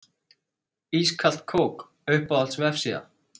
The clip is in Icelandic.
Ískalt kók Uppáhalds vefsíða?